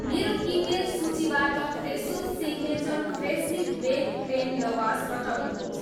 मेरो किनमेल सूचीबाट Fresho signature freshly baked plain lavash हटाउनुहोस्